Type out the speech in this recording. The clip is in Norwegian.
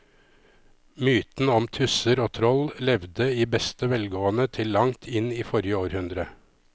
Mytene om tusser og troll levde i beste velgående til langt inn i forrige århundre.